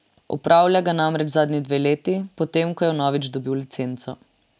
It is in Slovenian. Opravlja ga namreč zadnji dve leti, potem ko je vnovič dobil licenco.